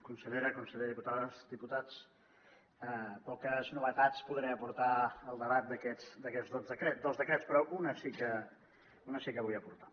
consellera conseller diputades diputats poques novetats podré aportar al debat d’aquests dos decrets però una sí que la vull aportar